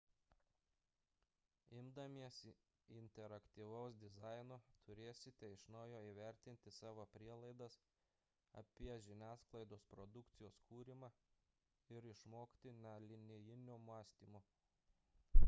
imdamiesi interaktyvaus dizaino turėsite iš naujo įvertinti savo prielaidas apie žiniasklaidos produkcijos kūrimą ir išmokti nelinijinio mąstymo